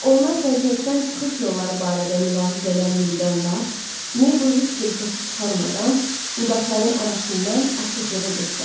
Onlar vəziyyətdən çıxış yolları barədə mülahizələr yürüdən vaxt, Meybl heç bir səs çıxarmadan budaqların arasından açıqlığa göstərdi.